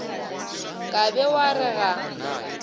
ka be wa re ga